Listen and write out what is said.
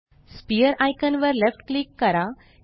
sphere icon वर left click करा